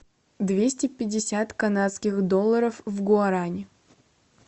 двести пятьдесят канадских долларов в гуарани